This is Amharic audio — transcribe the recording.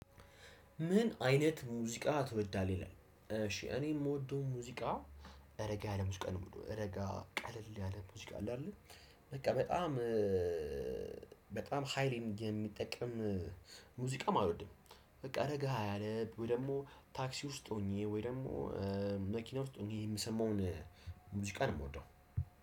ምን አይነት ሙዚቃ ትወዳለህ ይላል? እሺ እኔ የምወደው ሙዚቃ እረጋ ያለ ሙዚቃ ነው የምለው እረጋ ቀለል ያለ ሙዚቃ አለ። አይደለ በቃ በጣም በጣም ሃይ ሚዲያ የሚጠቀም ሙዚቃም አሎድም። በቃ ረጋ ያለ ታክሲ ውስጥ ሁኜ ወይ ደሞ መኪና ውስጥ ሁኜ የምሰማውን ሙዚቃ ነው። የምወደው